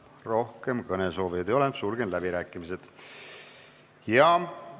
Rohkem kõnesoovijaid ei ole, sulgen läbirääkimised.